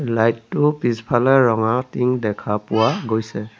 Light টো পিছফালে ৰঙা টিং দেখা পোৱা গৈছে।